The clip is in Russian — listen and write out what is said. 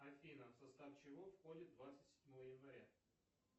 афина в состав чего входит двадцать седьмое января